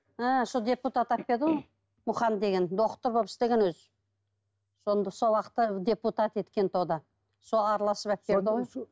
ы сол депутат ғой мұқан деген доктор болып істеген өзі сонда сол уақытта депутат сол араласып ғой